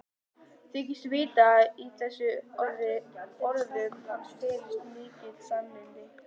Þykist vita að í þessum orðum hans felist mikil sannindi.